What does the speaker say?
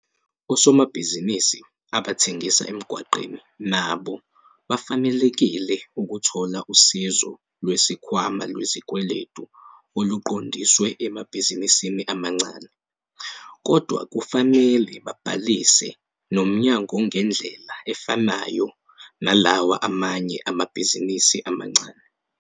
Osomabhizinisi abathengisa emgwaqeni nabo bafanelekile ukuthola Usizo Lwesikhwama Lwezikweletu oluqondiswe emabhizinisini amancane kodwa kufanele babhalise nomnyangongendlela efanayo nalawa amanye amabhizinisi amancane.